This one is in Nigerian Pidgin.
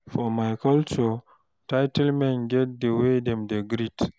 For my culture, title men get the way wey dem dey greet.